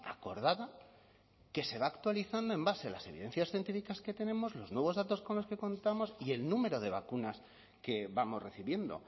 acordada que se va actualizando en base a las evidencias científicas que tenemos los nuevos datos con los que contamos y el número de vacunas que vamos recibiendo